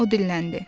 O dinləndi.